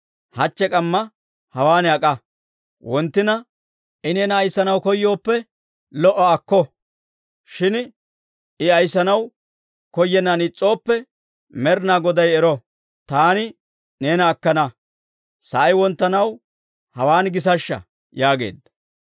Hachche k'ammaa hawaan ak'a. Wonttina I neena ayissanaw koyooppe, lo"a; akko. Shin I ayissanaw koyennan is's'ooppe, Med'inaa Goday ero, taani neena akkana. Sa'ay wonttanaw hawaan gisashsha» yaageedda.